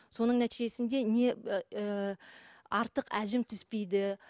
соның нәтижесінде не ыыы артық әжім түспейді